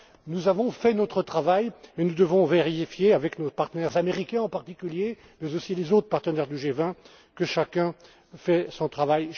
pas. Nous avons fait notre travail et nous devons vérifier avec nos partenaires, américains en particulier, mais aussi les autres partenaires du G20, que chacun fait